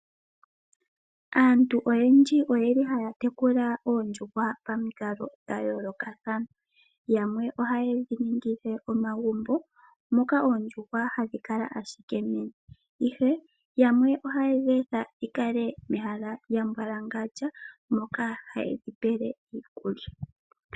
Aantu oyendji oyeli haya tekula oondjuhwa pamikalo dha yoolokathana yamwe ohaye dhi ningile omagumbo moka oondjuhwa hadhi kala ashike ihe yamwe ohaye dhi etha dhi kale mehala lya mbwalangandja moka hayedhi pele iikulya.